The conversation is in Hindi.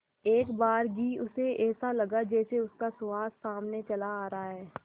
एकबारगी उसे ऐसा लगा जैसे उसका सुहास सामने से चला रहा है